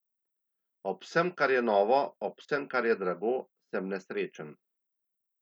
Ob vsem, kar je novo, ob vsem, kar je drago, sem nesrečen.